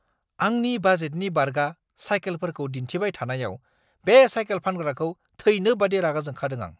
आंनि बाजेटनि बारगा साइकेलफोरखौ दिन्थिबाय थानायाव बे साइकेल फानग्राखौ थैनो बायदि रागा जोंखादों आं!